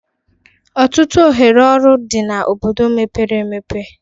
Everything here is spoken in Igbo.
Ọtụtụ ohere ọrụ dị na obodo mepere emepe